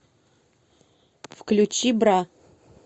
включи бра